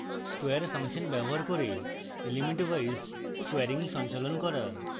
square function দ্বারা elementwise squaring সঞ্চালন করা